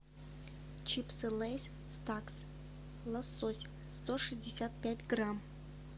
чипсы лейс стакс лосось сто шестьдесят пять грамм